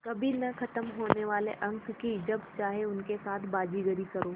कभी न ख़त्म होने वाले अंक कि जब चाहे उनके साथ बाज़ीगरी करो